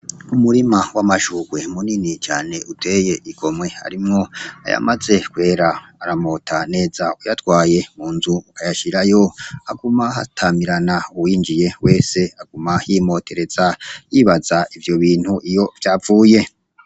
Umurima w'amashurwe munini cane uteye igomwe harimwo ayamaze kwera, aramota neza; uyatwaye mu nzu ukayashirayo haguma hatamirana uwinjiye wese aguma yimotereza yibaza ivyo bintu iyo vyavuye.